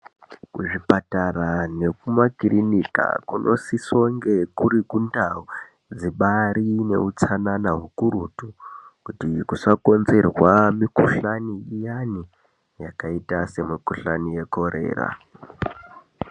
Kuzvipatara nekumakirinika kunosisonge kuri kundau dzibari neutsanana ukurutu kuti kusakonzerwa mikuhlani yakaita semikuhlani yeCholera.